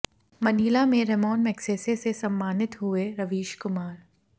Manila में Ramon Magsaysay से सम्मानित हुए रवीश कुमार